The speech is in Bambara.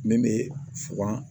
Min bɛ fuga